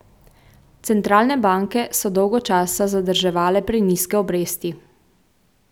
Centralne banke so dolgo časa zadrževale prenizke obresti.